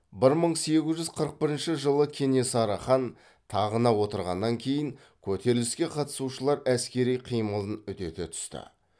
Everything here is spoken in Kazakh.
бір мың сегіз жүз қырық бірінші жылы кенесары хан тағына отырғаннан кейін көтеріліске қатысушылар әскери қимылын үдете түсті